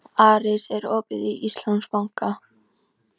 Aris, er opið í Íslandsbanka?